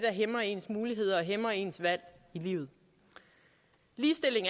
hæmmer ens muligheder og hæmmer ens valg i livet ligestilling